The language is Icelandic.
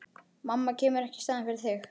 Mamma kemur ekki í staðinn fyrir þig.